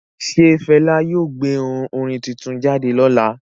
Ṣe Fẹla yóò gbé orin tuntun jáde lọla?